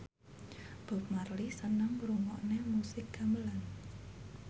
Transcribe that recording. Bob Marley seneng ngrungokne musik gamelan